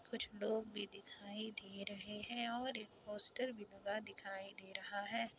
कुछ लोग भी दिखाई दे रहे है और एक पोस्टर भी लगा दिखाई दे रहा है।